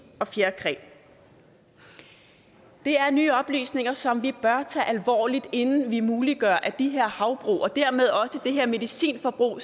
og fjerkræ det er nye oplysninger som vi bør tage alvorligt inden vi muliggør at de her havbrug og dermed også det her medicinforbrug